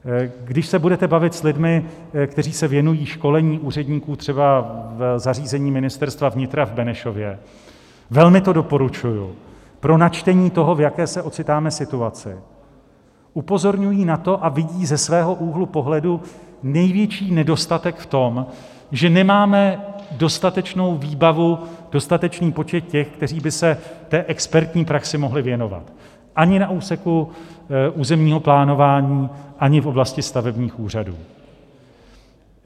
Když se budete bavit s lidmi, kteří se věnují školení úředníků třeba v zařízení Ministerstva vnitra v Benešově - velmi to doporučuji pro načtení toho, v jaké se ocitáme situaci - upozorňují na to a vidí ze svého úhlu pohledu největší nedostatek v tom, že nemáme dostatečnou výbavu, dostatečný počet těch, kteří by se té expertní praxi mohli věnovat - ani na úseku územního plánování, ani v oblasti stavebních úřadů.